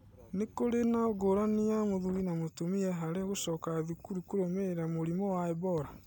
Nĩkũrĩ na ngũrani ya mũthuri na mũtumia harĩ gũcoka thukuru kũrũmĩrĩra mũrimũ wa Ebola ?